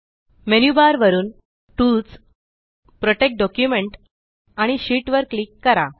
menu bar वरुन tools protect document आणि sheet वर क्लिक करा